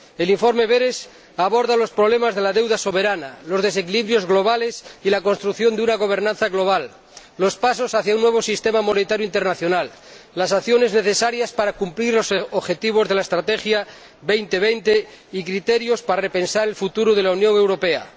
El informe Berès aborda los problemas de la deuda soberana, los desequilibrios globales y la construcción de una gobernanza global, los pasos hacia un nuevo sistema monetario internacional, las acciones necesarias para cumplir los objetivos de la Estrategia Europa 2020 y criterios para repensar el futuro de la Unión Europea.